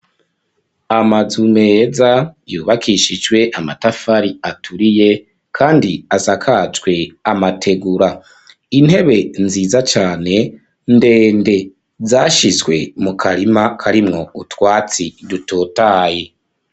Amazu meza, yubakishijwe amatafari aturiye, kandi asakajwe amategura; intebe nziza cane, ndende, zashizwe mu karima, karimwo utwatsi, dutotahaye.